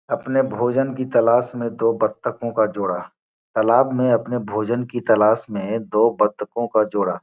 अपने भोजन की तलाश में दो बतखों का जोड़ा तालाब में अपने भोजन की तलाश में दो बतखों का जोड़ा।